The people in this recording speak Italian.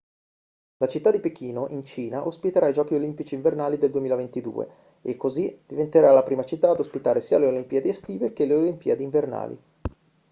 la città di pechino in cina ospiterà i giochi olimpici invernali del 2022 è così diventerà la prima città ad ospitare sia le olimpiadi estive che le olimpiadi invernali